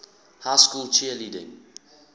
high school cheerleading